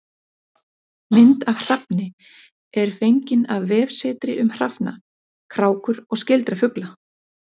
Mynd af hrafni er fengin af vefsetri um hrafna, krákur og skyldra fugla.